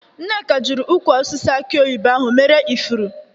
Nneka jiri ukwụ osisi aki oyibo ahụ mere ifuru.